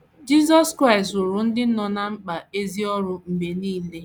JISỌS KRAỊST rụụrụ ndị nọ ná mkpa ezi ọrụ mgbe nile.